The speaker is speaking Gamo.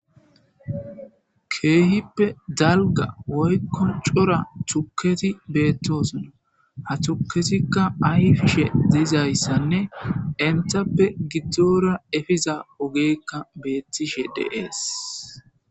keehippe dalga woykko cora tuketi beettosona ha tuketikka ayfshe diizayssanne entappe giddora efiza ogeekka beettishe deees